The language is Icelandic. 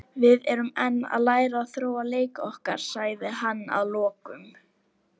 Við erum enn að læra og þróa leik okkar, sagði hann að lokum.